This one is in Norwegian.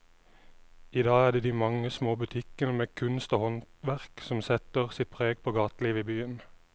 I dag er det de mange små butikkene med kunst og håndverk som setter sitt preg på gatelivet i byen.